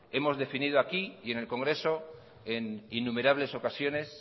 hemos definido aquí y en el congreso en innumerables ocasiones